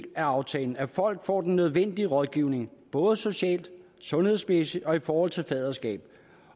i aftalen at folk får den nødvendige rådgivning både socialt sundhedsmæssigt og i forhold til faderskab